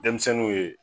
Denmisɛnninw ye